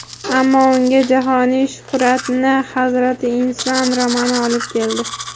Ammo unga jahoniy shuhratni "Hazrati inson" romani olib keldi.